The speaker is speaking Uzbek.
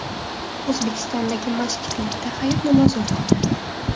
O‘zbekistondagi masjidlarda Hayit namozi o‘qildi.